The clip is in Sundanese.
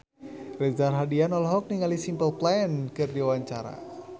Reza Rahardian olohok ningali Simple Plan keur diwawancara